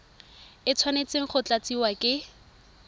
e tshwanetse go tlatsiwa ke